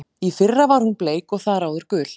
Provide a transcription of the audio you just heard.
Í fyrra var hún bleik og þar áður gul.